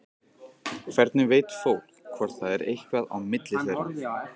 Hvernig veit fólk hvort það er eitthvað á milli þeirra?